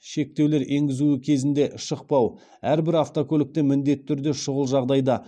шектеулер енгізуі кезінде шықпау әрбір автокөлікте міндетті түрде шұғыл жағдайда